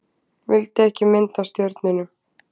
Vildi ekki mynd af stjörnunum